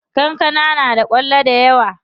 Kankana na da kwallo dayawa.